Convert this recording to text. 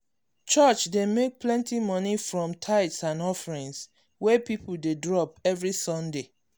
church dey make plenty money from tithes and offering wey people dey drop every sunday.